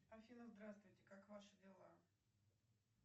афина здравствуйте как ваши дела